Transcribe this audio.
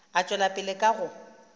a tšwela pele ka go